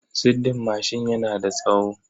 Siddin mashin yana da tsawo.